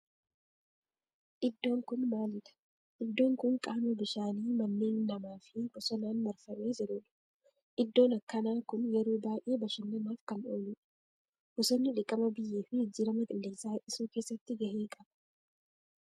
Iddoon kun maalidha? Iddoon kun qaama bishaanii manneen namaa fi bosonaan marfamee jirudha. Iddoon akkanaa kun yeroo baayyee bashannanaaf kan ooludha. Bosonni dhiqama biyyee fi jijjiirama qilleensaa hir'isuu keessatti gahee qaba.